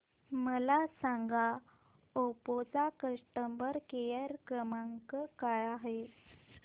मला सांगा ओप्पो चा कस्टमर केअर क्रमांक काय आहे